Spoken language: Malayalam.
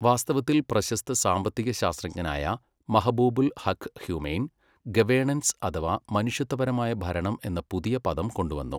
വാസ്തവത്തിൽ പ്രശസ്ത സാമ്പത്തിക ശാസ്ത്രജ്ഞനായ മഹബൂബുൽ ഹഖ് ഹ്യുമെയ്ൻ ഗവേണൻസ് അഥവാ മനുഷ്യത്വപരമായ ഭരണം എന്ന പുതിയ പദം കൊണ്ടുവന്നു.